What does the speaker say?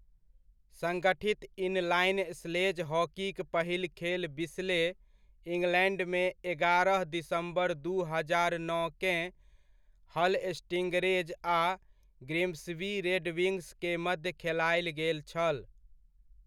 संगठित inline sledge हॉकीक पहिल खेल बिस्ले, इंग्लैंडमे एगारह दिसम्बर दू हजार नओकेँ हल स्टिंगरेज आ ग्रिम्सबी रेडविंग्स के मध्य खेलायल गेल छल।